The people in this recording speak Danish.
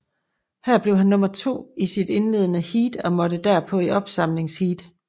Her blev han nummer to i sit indledende heat og måtte derpå i opsamlingsheat